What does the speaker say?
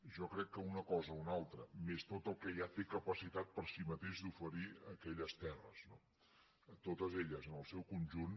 jo crec que una cosa o una altra més tot el que ja tenen capacitat per si mateixes d’oferir aquelles terres totes elles en el seu conjunt